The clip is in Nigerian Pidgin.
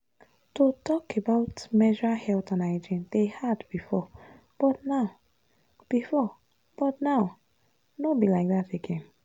to talk about menstrual health and hygiene dey hard before but now before but now no be like that again.